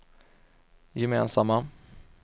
gemensamma